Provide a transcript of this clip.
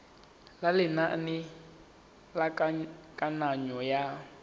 ya lenane la kananyo ya